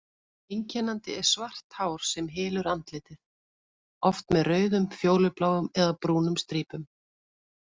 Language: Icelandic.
Einkennandi er svart hár sem hylur andlitið, oft með rauðum, fjólubláum eða brúnum strípum.